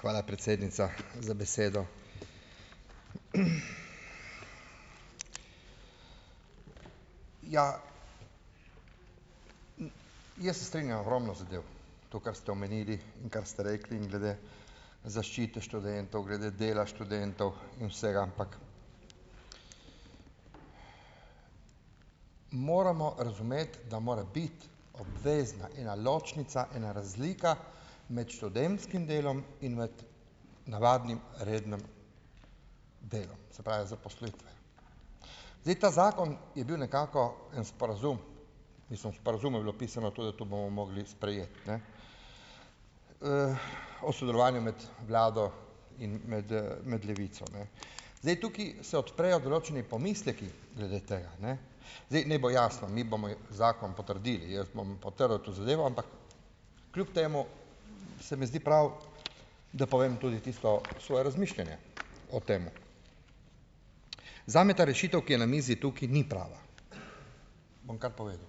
Hvala, predsednica, za besedo. Jaz se strinjam ogromno zadev, to, kar ste omenili, kar ste rekli glede zaščite študentov, glede dela študentov in vsega, ampak moramo razumeti, da mora biti obvezna ena ločnica, ena razlika med študentskim delom in med navadnim, rednim delom, se pravi, zaposlitvijo. Zdaj, ta zakon je bil nekako en sporazum, mislim, v sporazumu je bilo pisano to, da to bomo mogli sprejeti, ne, o sodelovanju med vlado in med, med Levico, ne. Zdaj, tukaj se odprejo določeni pomisleki glede tega, ne, zdaj, naj bo jasno, mi bomo zakon potrdili, jaz bom potrdil to zadevo, ampak kljub temu se mi zdi prav, da povem tudi tisto svoje razmišljanje o tem. Zame ta rešitev, ki je na mizi, tukaj ni prava, bom kar povedal,